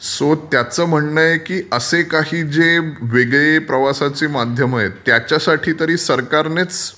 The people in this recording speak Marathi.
सो तत्याचं म्हणणं आहे की असे काही जे वेगळे प्रवासाचे माध्यम आहेत त्याच्यासाठी सरकारनेच